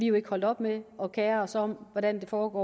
jo ikke holdt op med at kere os om hvordan det foregår